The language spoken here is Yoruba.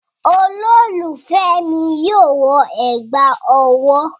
Olólùfẹ́ mi yóò wọ ẹ̀gbà ọwọ́